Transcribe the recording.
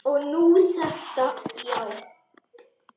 Og nú þetta, já.